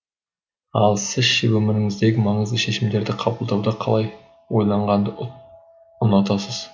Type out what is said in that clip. ал сіз ше өміріңіздегі маңызды шешімдерді қабылдауда қалай ойланғанды ұнатасыз